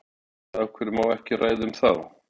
Erla: Og af hverju má ekki ræða um þá?